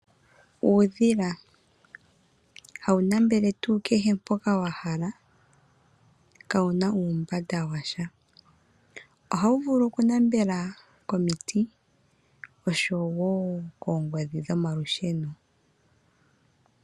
Uudhila, hawu nambela tuu kehe mpoka wa hala, ka wu na uumbanda washa. Ohawu vulu okunambela komiti osho wo koongodhi dhomalusheno.